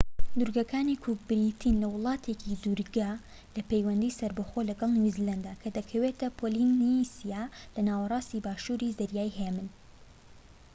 دوورگەکانی کوک بریتین لە وڵاتێکی دوورگە لە پەیوەندی سەربەخۆ لەگەڵ نیو زیلاند کە دەکەوێتە پۆلینیسیا لە ناوەراستی باشوری زەریای هێمن